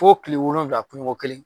Fo kile wolowula kunu ko kelen.